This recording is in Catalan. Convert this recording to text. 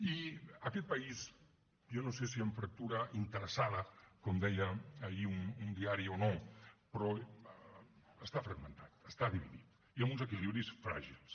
i aquest país jo no sé si amb fractura interessada com deia ahir un diari o no però està fragmentat està dividit i amb uns equilibris fràgils